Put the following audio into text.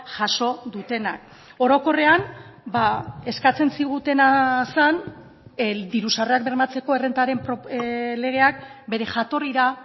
jaso dutenak orokorrean eskatzen zigutena zen diru sarrerak bermatzeko errentaren legeak bere jatorrira